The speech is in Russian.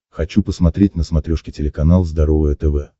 хочу посмотреть на смотрешке телеканал здоровое тв